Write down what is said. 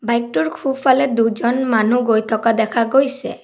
টোৰ খোফালে দুজন মানুহ গৈ থকা দেখা গৈছে।